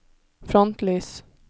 frontlys